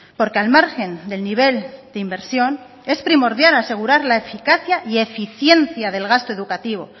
porque al margen del nivel de inversión es primordial asegurar la eficacia y eficiencia del gasto educativo